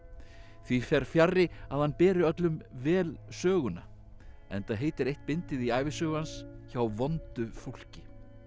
því fer fjarri að hann beri öllum vel söguna enda heitir eitt bindið í ævisögu hans hjá vondu fólki